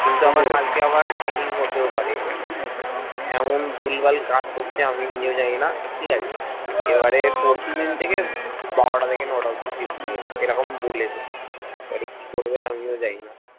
কিন্তু আবার আমার কালকে training হতেও পারে এমন ভুলভাল কাজ করছে আমি নিজেও জানিনা ঠিকাছে এবারে পরশুদিন থেকে বারোটা থেকে নটা অব্দি shift দিয়েছে এরকম বলেছে এবারে কি করবে আমিও জানিনা